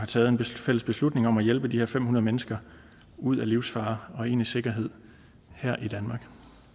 taget en fælles beslutning om at hjælpe de her fem hundrede mennesker ud af livsfare og ind i sikkerhed her i danmark